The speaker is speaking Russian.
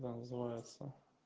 да называется